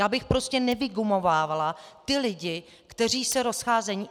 Já bych prostě nevygumovávala ty lidi, kteří se rozcházejí.